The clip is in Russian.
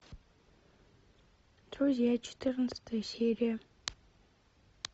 друзья четырнадцатая серия